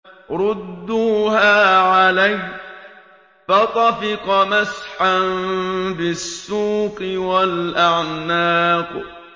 رُدُّوهَا عَلَيَّ ۖ فَطَفِقَ مَسْحًا بِالسُّوقِ وَالْأَعْنَاقِ